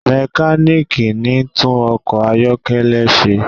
mekaniki ní tún ọkọ ayọkẹlẹ ṣe